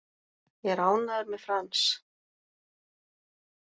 Ég er ánægður með Frans.